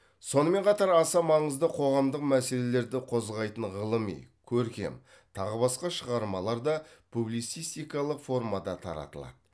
сонымен қатар аса маңызды қоғамдық мәселелерді қозғайтын ғылыми көркем тағы басқа шығармалар да публицистикалық формада таратылады